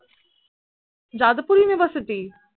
Jadavpur university?